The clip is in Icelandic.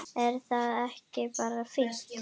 Er það ekki bara fínt?